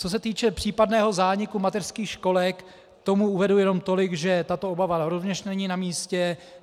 Co se týče případného zániku mateřských školek, k tomu uvedu jenom tolik, že tato obava rovněž není namístě.